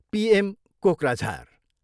PM, Kokrajhar.